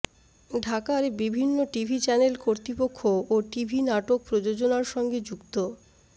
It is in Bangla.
ঢাকার বিভিন্ন টিভি চ্যানেল কর্তৃপক্ষ ও টিভি নাটক প্রযোজনার সঙ্গে যুক্ত